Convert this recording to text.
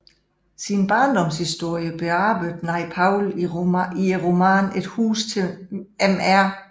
Sin barndomshistorie bearbejdede Naipaul i romanen Et hus til mr